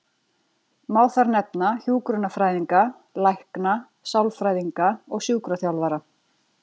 Má þar nefna hjúkrunarfræðinga, lækna, sálfræðinga og sjúkraþjálfara.